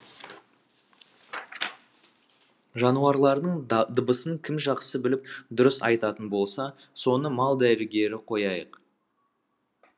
жануарлардың дыбысын кім жақсы біліп дұрыс айтатын болса соны мал дәрігері қояйық